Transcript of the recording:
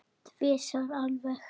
Tvisvar alveg.